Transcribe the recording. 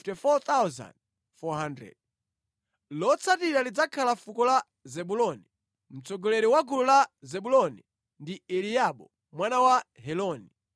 Lotsatira lidzakhala fuko la Zebuloni. Mtsogoleri wa gulu la Zebuloni ndi Eliabu mwana wa Heloni.